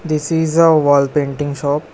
This is a wall painting shop.